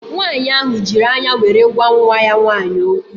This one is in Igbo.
Nwaanyị ahụ jiri anya were gwa nwa ya nwaanyị okwu